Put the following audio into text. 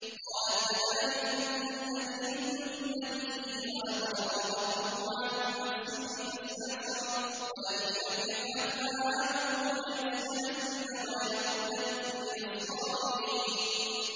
قَالَتْ فَذَٰلِكُنَّ الَّذِي لُمْتُنَّنِي فِيهِ ۖ وَلَقَدْ رَاوَدتُّهُ عَن نَّفْسِهِ فَاسْتَعْصَمَ ۖ وَلَئِن لَّمْ يَفْعَلْ مَا آمُرُهُ لَيُسْجَنَنَّ وَلَيَكُونًا مِّنَ الصَّاغِرِينَ